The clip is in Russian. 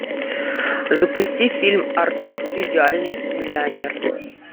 запусти фильм артур идеальный миллионер